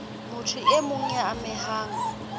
motho e mong ya amehang